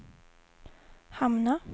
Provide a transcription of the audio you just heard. hamna